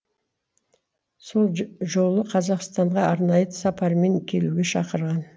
сол жолы қазақстанға арнайы сапармен келуге шақырған